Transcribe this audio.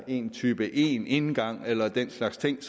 en type indgang eller den slags ting